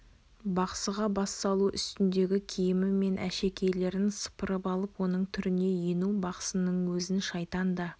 бақсыға бас салу үстіндегі киімі мен әшекейлерін сыпырып алып оның түріне ену бақсының өзін шайтан да